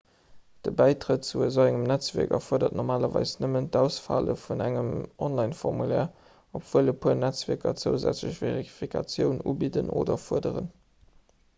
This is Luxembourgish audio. de bäitrett zu esou engem netzwierk erfuerdert normalerweis nëmmen d'ausfëlle vun engem onlineformulaire obwuel e puer netzwierker zousätzlech verifikatiounen ubidden oder fuerderen